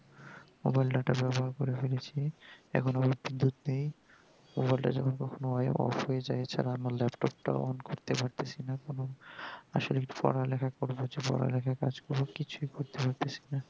mobile data করে ফেলেছি এখন mobile টা কখনো off হয়ে যাই এছাড়া আমার laptop টা ও on করতে পারতেছিনা এখনো আসলে পড়ালিখা করছি পড়ালিখার কাজ করে কিছুই করতে পারতেছি না